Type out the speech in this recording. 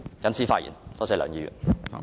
謹此發言，多謝梁議員。